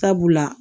Sabula